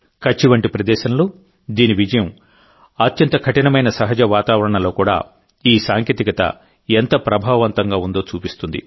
కచ్ వంటి ప్రదేశంలో దీని విజయం అత్యంత కఠినమైన సహజ వాతావరణంలో కూడా ఈ సాంకేతికత ఎంత ప్రభావవంతంగా ఉందో చూపిస్తుంది